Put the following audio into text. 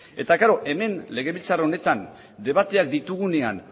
eta hemen legebiltzar honetan debateak ditugunean